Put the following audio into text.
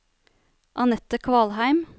Anette Kvalheim